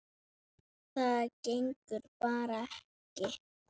Það gengur bara ekki.